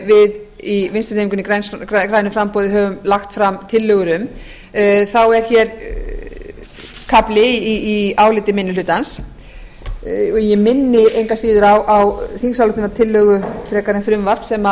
við í vinstri hreyfingunni grænu framboði höfum lagt fram tillögur um er hér kafli í áliti minni hlutans ég minni engu að síður á þingsályktunartillögu frekar en frumvarp sem